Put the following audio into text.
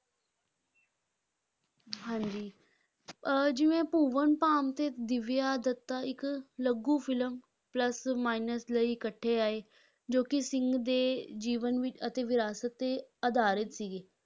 ਹਾਂਜੀ ਅਹ ਜਿਵੇਂ ਭੁਵਨ ਬਾਮ ਅਤੇ ਦਿਵਿਆ ਦੱਤਾ ਇੱਕ ਲਘੂ film plus minus ਲਈ ਇਕੱਠੇ ਆਏ, ਜੋ ਕਿ ਸਿੰਘ ਦੇ ਜੀਵਨ ਵਿੱਚ ਅਤੇ ਵਿਰਾਸਤ 'ਤੇ ਆਧਾਰਿਤ ਸੀਗੀ।